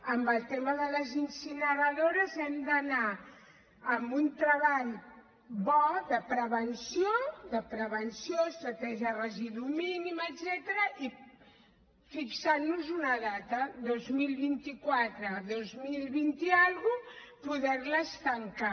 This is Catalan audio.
en el tema de les incineradores hem d’anar amb un treball bo de prevenció de prevenció estratègia residu mínim etcètera i fixant nos hi una data el dos mil vint quatre el dos mil vint i escaig poder les tancar